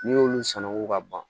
N'i y'olu sama fo ka ban